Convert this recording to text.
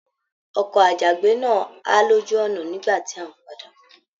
Ọkọ àjàgbé náà ha lójú ọnà nígbà tí a n padà bọ.